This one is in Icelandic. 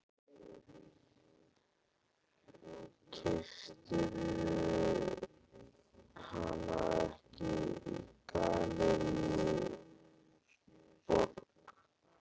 Keyptirðu hana ekki í Gallerí Borg?